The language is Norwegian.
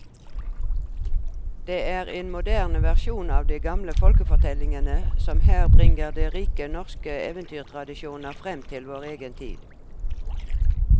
Det er en moderne versjon av de gamle folkefortellingene som her bringer de rike norske eventyrtradisjoner fram til vår egen tid.